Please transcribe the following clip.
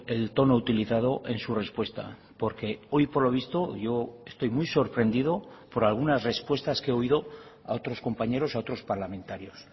el tono utilizado en su respuesta porque hoy por lo visto yo estoy muy sorprendido por algunas respuestas que he oído a otros compañeros a otros parlamentarios